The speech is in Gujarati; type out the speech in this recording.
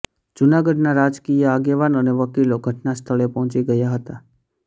જૂનાગઢના રાજકીય આગેવાન અને વકીલો ઘટના સ્થળે પહોચી ગયા હતા